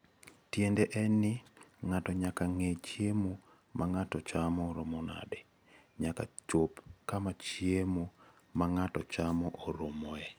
Tiende en ni, ng'ato nyaka ng'e ni chiemo ma ng'ato chamo oromo nade, nyaka chop kama chiemo ma ng'ato chamo oromoe.